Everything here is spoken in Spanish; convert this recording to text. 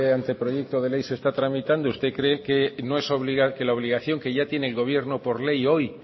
anteproyecto de ley se está tramitando usted cree que la obligación que ya tiene el gobierno por ley hoy